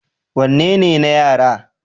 wanne ne na yara?